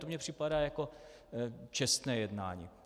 To mně připadá jako čestné jednání.